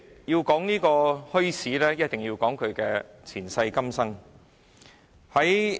要討論墟市，便須提到其前世今生。